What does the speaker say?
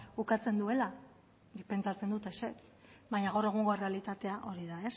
ukatzen duela nik pentsatzen dut ezetz baino gaur egungo errealitatea hori da